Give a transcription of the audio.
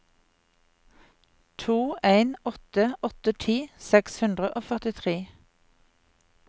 to en åtte åtte ti seks hundre og førtitre